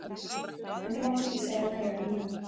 En þú mátt ekki segja meira en já.